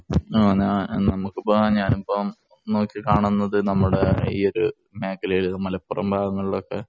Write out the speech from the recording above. നമ്മുക്കിപ്പം, ഞാനിപ്പം നോക്കികാണുന്നത് നമ്മുടെ ഈ ഒരു മേഖലയില്‍, മലപ്പുറം ഭാഗങ്ങളിലൊക്കെ